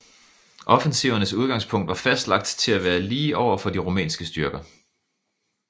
Offensivernes udgangspunkt var fastlagt til at være lige over for de rumænske styrker